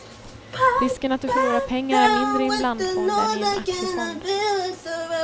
Risken att du förlorar pengar är mindre i en blandfond än i en aktiefond.